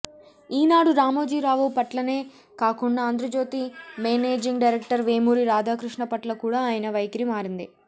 ఈనాడు రామోజీ రావు పట్లనే కాకుండా Andhrajyothy managing director Vemuri Radhakrishna పట్ల కూడా ఆయన వైఖరి మారింది